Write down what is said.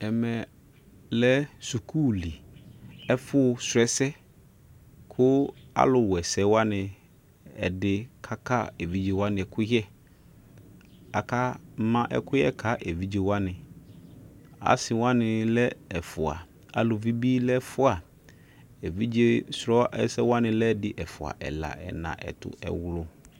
ɛmɛlɛ sukuuli ɛfu srɔ ɛsɛ ku aluɛsɛwani ɛdi kaka evijewani ɛkuyɛ kaka ma ɛkuyɛ ka evije wani asi wani lɛ ɛfua aluvi bi lɛ ɛfua evije srɔ ɛsɛwani lɛ ɛdi ɛfua ɛla ɛna ɛtu ɛwlu